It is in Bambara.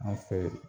An fɛ